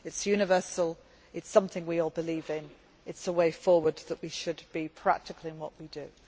do. It is universal, it is something we all believe in, and it is the way forward that we should be practical in what we